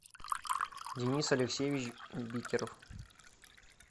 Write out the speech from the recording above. денис алексеевич бикеров